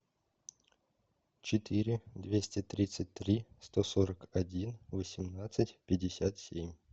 четыре двести тридцать три сто сорок один восемнадцать пятьдесят семь